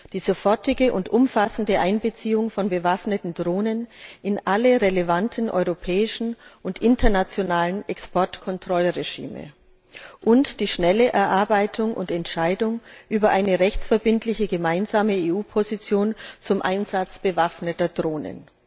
die sofortige und umfassende Einbeziehung von bewaffneten Drohnen in alle relevanten europäischen und internationalen Exportkontrollregime und eine schnelle Entscheidung über eine rechtsverbindliche gemeinsame EU Position zum Einsatz bewaffneter Drohnen.